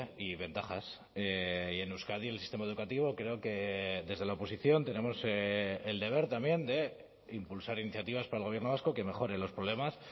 y ventajas y en euskadi el sistema educativo creo que desde la oposición tenemos el deber también de impulsar iniciativas para el gobierno vasco que mejoren los problemas